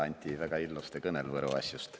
Anti väega ilosalõ kõnõl Võro asjust.